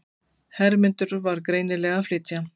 Hermundur var greinilega að flytja.